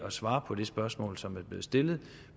at svare på det spørgsmål som er blevet stillet